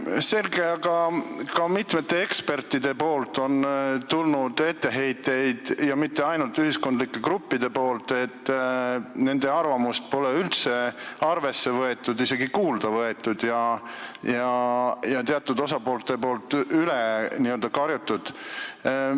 Selge, aga ka mitmetelt ekspertidelt on tulnud etteheiteid – mitte ainult ühiskondlikelt gruppidelt –, et nende arvamust pole üldse arvesse võetud, neid pole isegi kuulda võetud ja teatud osapooled on n-ö üle karjunud.